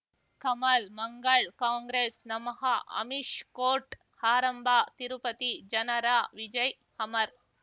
ಕಮಲ್ ಮಂಗಳ್ ಕಾಂಗ್ರೆಸ್ ನಮಃ ಅಮಿಷ್ ಕೋರ್ಟ್ ಆರಂಭ ತಿರುಪತಿ ಜನರ ವಿಜಯ್ ಅಮರ್